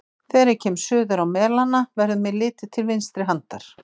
Þegar ég kem suður á Melana, verður mér litið til vinstri handar.